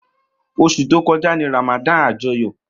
Osu to koja ni Ramadan ajoyo.